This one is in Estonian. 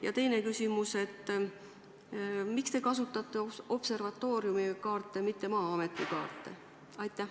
Ja teine küsimus: miks te kasutate observatooriumi kaarte, mitte Maa-ameti kaarte?